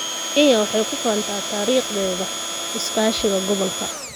Kenya waxay ku faantaa taariikhdeeda iskaashiga gobolka.